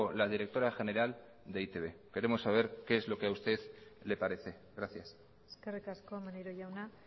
la directora general de e i te be queremos saber qué es lo que a usted le parece gracias eskerrik asko maneiro jauna